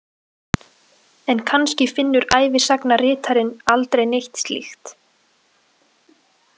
En kannski finnur ævisagnaritarinn aldrei neitt slíkt.